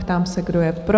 Ptám se, kdo je pro?